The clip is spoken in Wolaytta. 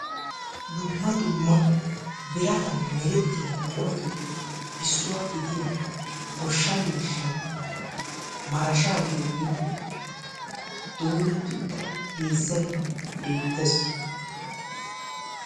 Dumma dumma biratan meretiya buquratuppe issuwa gidiya goshsha miishshay marashshaa giyooge dooretti uttida heezzay beettees.